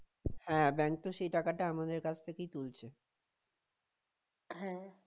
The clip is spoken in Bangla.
হ্যাঁ bank তো সেই টাকাটা আমাদের কাছ থেকেই তুলছে